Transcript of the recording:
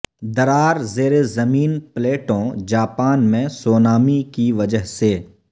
درار زیر زمین پلیٹوں جاپان میں سونامی کی وجہ سے